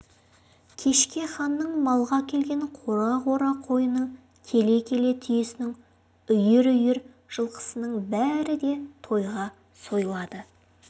кешке ханның малға әкелген қора-қора қойының келе-келе түйесінің үйір-үйір жылқысының бәрі де тойға сойылады